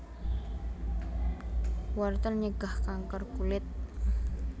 Wortel nyegah kanker kulit